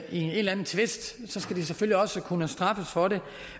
en eller anden tvist skal de selvfølgelig også kunne straffes for det